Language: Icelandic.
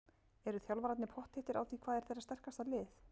Eru þjálfararnir pottþéttir á því hvað er þeirra sterkasta lið?